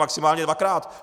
Maximálně dvakrát!